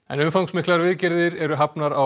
inn umfangsmiklar viðgerðir eru hafnar á